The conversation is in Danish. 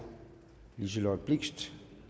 liselott blixt